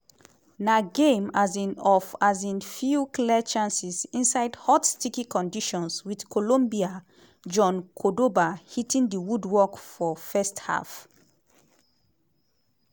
na game um of um few clear chances inside hot sticky conditions wit colombia jhon cordoba hitting di woodwork for first half.